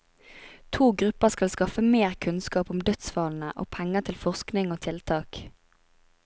To grupper skal skaffe mer kunnskap om dødsfallene, og penger til forskning og tiltak.